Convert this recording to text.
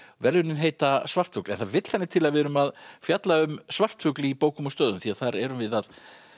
verðlaunin heita svartfugl en það vill þannig til að við erum að fjalla um svartfugl í bókum og stöðum því þar erum við að